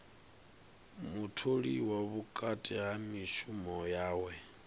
mutholiwa vhukati ha mishumo yawe